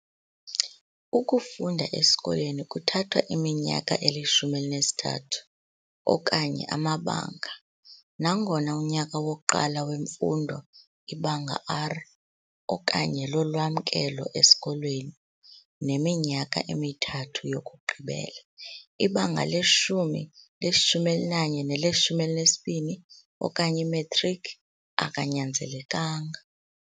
Ukufunda esikolweni kuthatha iminyaka eli-13 - okanye amabanga - nangona unyaka wokuqala wemfundo, iBanga R okanye "lolwamkelo esikolweni", neminyaka emithathu yokugqibela, iBhanga 10, 11 nele-12 okanye "iMetriki" akanyanzelekanga.